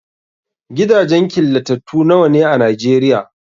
Gidajen killatattu nawa ne a Nigeria?